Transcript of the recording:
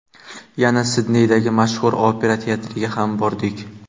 Yana Sidneydagi mashhur opera teatriga ham bordik.